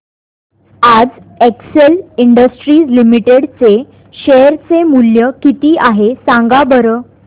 आज Excel Industries limited चे share चे मूल्य किती आहे सांगा बरं